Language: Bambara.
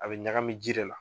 A be ɲagami ji da la.